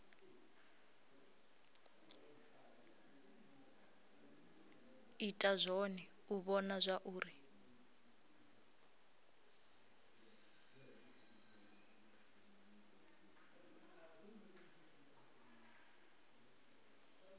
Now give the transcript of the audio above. ita zwone u vhona zwauri